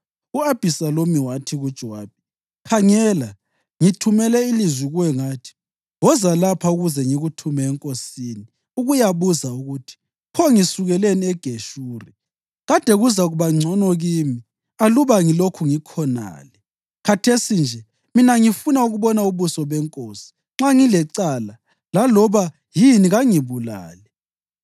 U-Abhisalomu wathi kuJowabi, “Khangela, ngithumele ilizwi kuwe ngathi, ‘Woza lapha ukuze ngikuthume enkosini ukuyabuza ukuthi, “Pho ngisukeleni eGeshuri? Kade kuzakuba ngcono kimi aluba ngilokhu ngikhonale!” ’ Khathesi nje, mina ngifuna ukubona ubuso benkosi, nxa ngilecala laloba yini kangibulale.”